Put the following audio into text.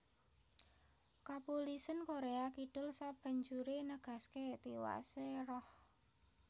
Kapulisèn Koréa Kidul sabanjuré negasaké tiwasé Roh